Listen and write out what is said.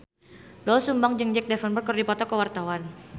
Doel Sumbang jeung Jack Davenport keur dipoto ku wartawan